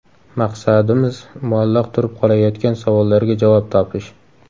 Maqsadimiz muallaq turib qolayotgan savollarga javob topish.